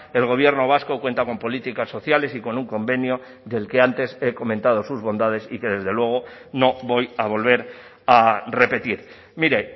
el gobierno vasco cuenta con políticas sociales y con un convenio del que antes he comentado sus bondades y que desde luego no voy a volver a repetir mire